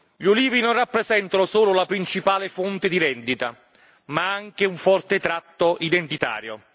Gli ulivi non rappresentano solo la principale fonte di reddito, ma anche un forte tratto identitario.